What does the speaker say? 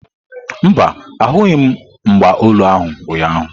Mba, ahụghị m mgba olu ahu ụnyaahụ.